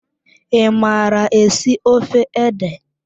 I mara esi ofe ede?